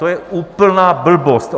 To je úplná blbost.